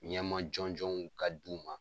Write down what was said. Ɲɛma jɔnjɔnw ka d'u ma